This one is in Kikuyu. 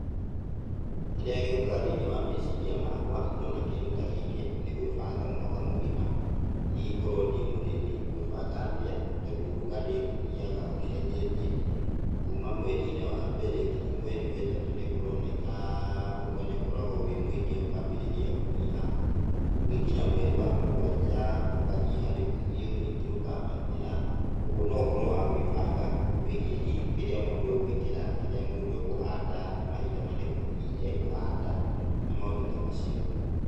Kĩrĩa gĩũkaga thĩiniĩ wa meciria makwa ndona kĩndũ ta gĩkĩ nĩ gwĩbanga mwaka mũgima, hihi korwo ndĩ mũrĩmi ngwĩbanga atĩa, tondũ ũrugarĩ ũthiaga ũcenjetie. Kuuma mweri-inĩ wa mbere nginya mweri wa ĩtatũ nĩ kurũoneka ũrugari ũkoragwo wĩ mũingĩ ũkaambĩrĩa kũnyiha. Ũgĩkinya mweri wa mũgwanja ũkanyiha rĩu biũ ningĩ ũkaambatĩra, ũguo. No ũhoro wa gũĩbanga wĩgiĩ hihi kĩrĩa mũndũ egũĩkĩra, kĩrĩa mũndũ ekũhanda, nĩ mahinda marĩkũ hihi ekũhanda na maũndũ ta macio.